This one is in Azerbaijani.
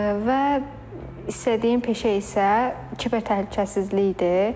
və istədiyim peşə isə kiber təhlükəsizlikdir.